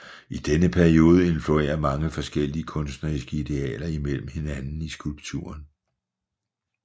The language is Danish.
I denne periode influerer mange forskellige kunstneriske idealer imellem hinanden i skulpturen